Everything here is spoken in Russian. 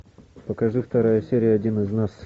покажи вторая серия один из нас